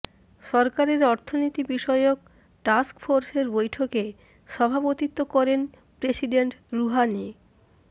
সরকারের অর্থনীতি বিষয়ক টাস্কফোর্সের বৈঠকে সভাপতিত্ব করেন প্রেসিডেন্ট রুহানি